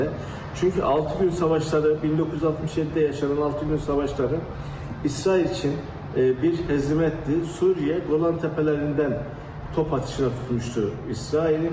Çünki 6 gün savaşlarda 1967-də yaşanan 6 gün savaşları İsrail üçün bir hezimet idi, Suriye Qolan təpələrindən top atışına tutmuşdu İsraili.